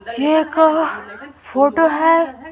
ये एक फोटो है।